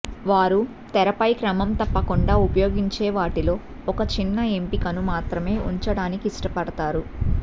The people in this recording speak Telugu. వారు తెరపై క్రమం తప్పకుండా ఉపయోగించే వాటిలో ఒక చిన్న ఎంపికను మాత్రమే ఉంచడానికి ఇష్టపడతారు